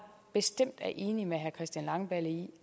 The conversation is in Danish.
bestemt er enig med herre christian langballe i